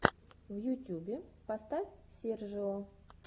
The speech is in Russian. в ютюбе поставь сержио